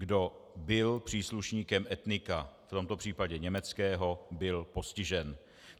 Kdo byl příslušníkem etnika, v tomto případě německého, byl postižen.